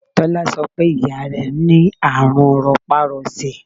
Tọ́lá sọ pé ìyá rẹ ní àrùn ropa-rose.